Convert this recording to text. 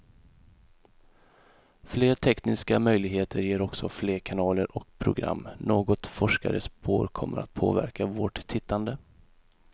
Fler tekniska möjligheter ger också fler kanaler och program, något forskare spår kommer att påverka vårt tittande.